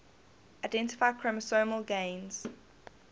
identify chromosomal gains